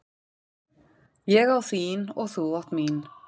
Ég á þín og þú átt mín.